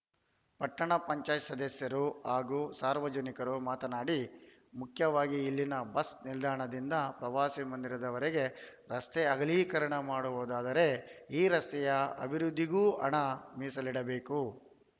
ಪಟ್ಟಣ ಪಂಚಾಯತ್ ಸದಸ್ಯರು ಹಾಗೂ ಸಾರ್ವಜನಿಕರು ಮಾತನಾಡಿ ಮುಖ್ಯವಾಗಿ ಇಲ್ಲಿನ ಬಸ್‌ ನಿಲ್ದಾಣದಿಂದ ಪ್ರವಾಸಿ ಮಂದಿರದವರೆಗೆ ರಸ್ತೆ ಅಗಲೀಕರಣ ಮಾಡುವುದಾದರೆ ಈ ರಸ್ತೆಯ ಅಭಿವೃದ್ಧಿಗೂ ಹಣ ಮೀಸಲಿಡಬೇಕು